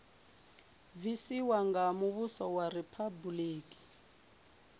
bvisiwa nga muvhuso wa riphabuliki